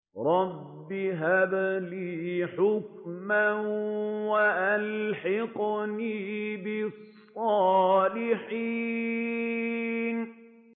رَبِّ هَبْ لِي حُكْمًا وَأَلْحِقْنِي بِالصَّالِحِينَ